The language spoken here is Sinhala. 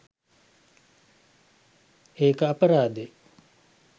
ඒක අපරාදෙ